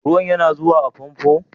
Ruwan yana zuwa a fomfon?